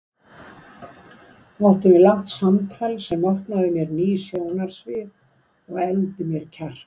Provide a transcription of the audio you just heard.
Áttum við langt samtal sem opnaði mér ný sjónarsvið og efldi mér kjark.